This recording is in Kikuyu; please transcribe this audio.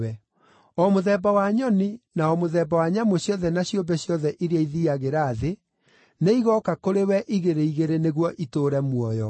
O mũthemba wa nyoni, na o mũthemba wa nyamũ ciothe na ciũmbe ciothe iria ithiiagĩra thĩ, nĩigooka kũrĩ we igĩrĩ igĩrĩ nĩguo itũũre muoyo.